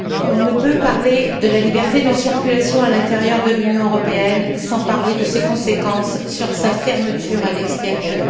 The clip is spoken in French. On ne peut parler de la liberté de circulation à l'intérieur de l'Union européenne sans parler des conséquences de sa fermeture à l'extérieur.